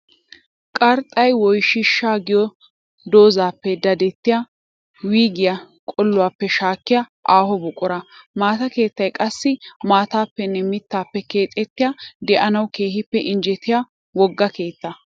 Qarxxay woyshsha giyo doozappe daddettiya wuyggiya qoli'oppe shaakkiya aaho buqura. Maata keettay qassi maatappenne mitappe keexettiya de'annawu keehippe injjettiya wogaa keetta.